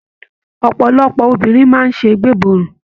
Ọpọlọpọ obìnrin máa n sé gbeborun.